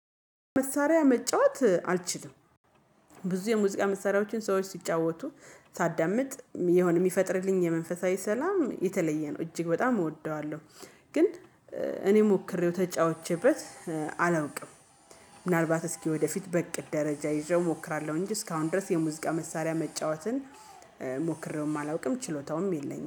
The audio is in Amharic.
መሳሪያ መጫወት አልችልም። ብዙ የሙዚቃ መሳሪያዎችን ሰዎች ሲጫወቱ ሳዳምጥ የሆነ የሚፈጥርልኝ የመንፈሳዊ ሰላም የተለየ ነው እጅግ በጣም እወደዋለሁ። ግን እኔ ሞክሬው ተጫውቼበት አላውቅም። ምናልባት እስኪ ወደፊት በእቅድ ደረጃ ይዤው እሞክራለሁ። እንጂ እስካሁን ድረስ የሙዚቃ መሳሪያ መጫወትን ሞክሬውም አላውቅም ችሎታውም የለኝም